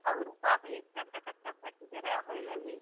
ಅವ್ರು ಪಾಪ ಎಷ್ಟ್ ಅಂತ ಕಷ್ಟ ಪಡ್ತಿದಾರ ಆ ಹೊಲ್ದಲ್ಲಿ.